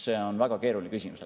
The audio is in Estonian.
See on väga keeruline küsimus.